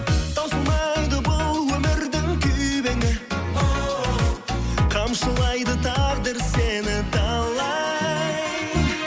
таусылмайды бұл өмірдің күйбеңі оу қамшылайды тағдыр сені талай